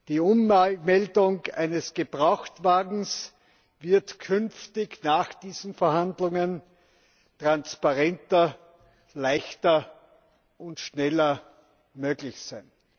Die Ummeldung eines Gebrauchtwagens wird nach diesen Verhandlungen künftig transparenter, leichter und schneller möglich sein.